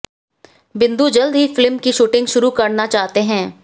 बिंदु जल्द ही फिल्म की शूटिंग शुरू करना चाहते हैं